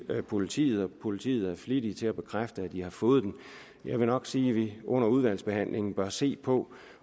politiet og politiet er flittige til at bekræfte at de har fået den jeg vil nok sige at vi under udvalgsbehandlingen bør se på